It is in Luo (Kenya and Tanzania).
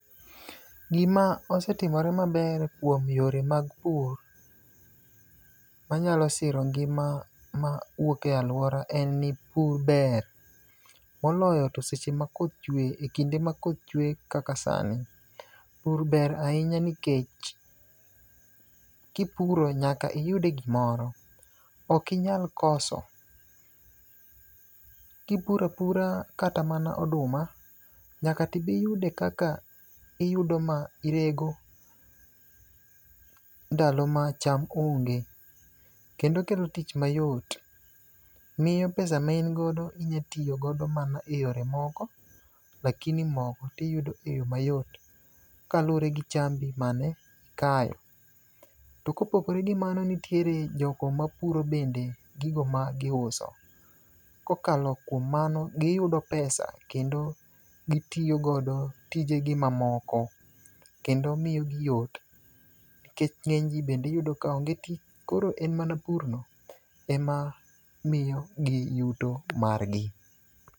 Gima osetimore maber kuom yore mag pur, wanyalo siro ngima mawuok e alwora en ni pur ber, moloyo to seche makoth chuwe e kinde ma koth chuwe kaka sani. Pur ber ahinya nikech kipuro, nyaka iyude gimoro. Ok inyal koso. Kipuro apura kata mana oduma, nyaka tibi yude kaka iyudo ma irego ndalo ma cham onge. Kendo okelo tich mayot. Miyo pesa ma in godo inya tiyo godo mana e yore moko, lakini mogo tiyudo e yo mayot kalure gi chambi manikayo. To kopogore gi mano, nitiere jogo mapuro bende gigo ma giuso. Kokalo kuom mano, giyudo pesa kendo gitiyo godo tijegi mamoko. Kendo miyogi yot ,nikech ng'enyji bende iyudo ka onge tich. Koro en mana purno, ema miyogi yuto margi.